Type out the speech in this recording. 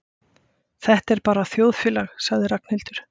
Þetta er bara þjóðfélagið sagði Ragnhildur.